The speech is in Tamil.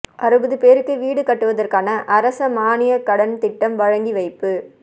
அறுபது பேருக்கு வீடு கட்டுவதற்கான அரச மாணிய கடன் திட்டம் வழங்கி வைப்பு